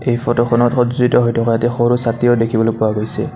এই ফটো খনত সজ্জিত হৈ থকা এটা সৰু ছাতিও দেখিবলৈ পোৱা গৈছে।